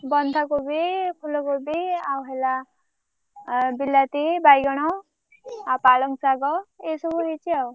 ବନ୍ଧା କୋବି ଫୁଲ କୋବି ଆଉ ହେଲା ଆ ବିଲାତି ବଉଗଣ ଆଉ ପାଳଙ୍ଗଶାଗ ଏଇସବୁ ହେଇଛି ଆଉ।